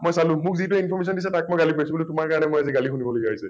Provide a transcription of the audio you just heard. মই চালো , মোক যিটোই information দিছে তাক মই গালি পৰিছো বোলো তোমাৰ কাৰণে মই আজি গালি শুনিব লগীয়া হৈছে ।